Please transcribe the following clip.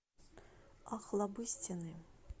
охлобыстины